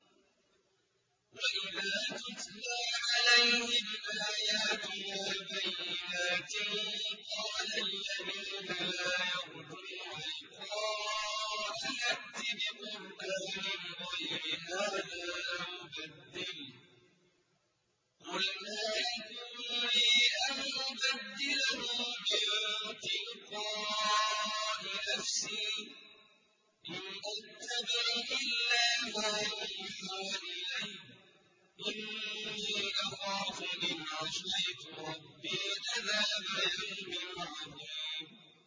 وَإِذَا تُتْلَىٰ عَلَيْهِمْ آيَاتُنَا بَيِّنَاتٍ ۙ قَالَ الَّذِينَ لَا يَرْجُونَ لِقَاءَنَا ائْتِ بِقُرْآنٍ غَيْرِ هَٰذَا أَوْ بَدِّلْهُ ۚ قُلْ مَا يَكُونُ لِي أَنْ أُبَدِّلَهُ مِن تِلْقَاءِ نَفْسِي ۖ إِنْ أَتَّبِعُ إِلَّا مَا يُوحَىٰ إِلَيَّ ۖ إِنِّي أَخَافُ إِنْ عَصَيْتُ رَبِّي عَذَابَ يَوْمٍ عَظِيمٍ